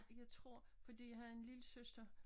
Jeg tror fordi jeg har en lillesøster